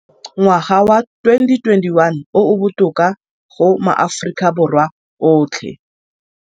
Ngwaga wa 2021 o o botoka go maAforika Borwa otlhe.